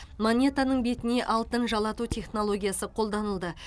монетаның бетіне алтын жалату технологиясы қолданылды